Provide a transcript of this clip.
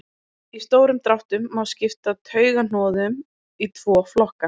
í stórum dráttum má skipta taugahnoðum í tvo flokka